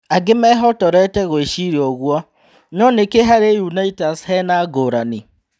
"Angĩ mehotorete gũĩciria ũguo no-nĩkĩ harĩ Unitas henangũrani?"